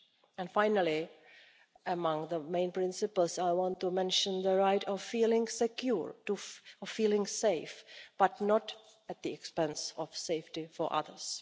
And finally, among the main principles, I want to mention the right of feeling secure, of feeling safe, but not at the expense of the safety of others.